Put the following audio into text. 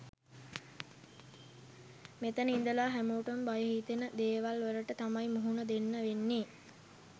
මෙතන ඉදලා හැමෝටම බය හිතෙන දේවල් වලට තමයි මුහුණ දෙන්න වෙන්නෙ.